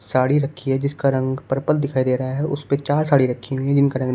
साड़ी रखी है जिसका रंग पर्पल दिखाई दे रहा है उसपे चार साड़ी रखी हुई है जिनका रंग --